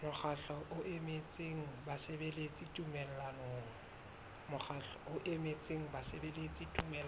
mokgatlo o emetseng basebeletsi tumellanong